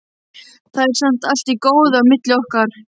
Það er samt allt í góðu á milli okkar.